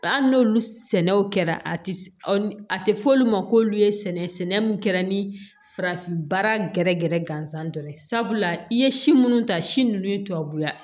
Hali n'olu sɛnɛw kɛra a ti a ti fɔ olu ma k'olu ye sɛnɛ sɛnɛ mun kɛra ni farafinbaa gɛrɛ gɛrɛ gansan dɔrɔn ye sabula i ye si munnu ta si nunnu ye tubabuya